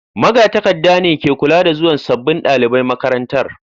Magatakarda ne ke kula da zuwan sabbin dalibai makarantar.